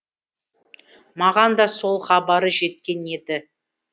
маған да сол хабары жеткен еді